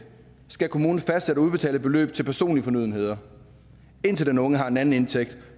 skal kommunen fastsætte og udbetale et beløb til personlige fornødenheder indtil den unge har en anden indtægt